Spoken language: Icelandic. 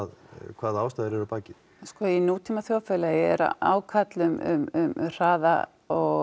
hvaða ástæður eru að baki sko í nútíma þjóðfélagi er ákall um hraða